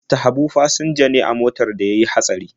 Mista Habu fasinja ne a motar da ta yi hatsari.